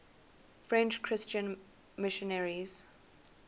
french christian missionaries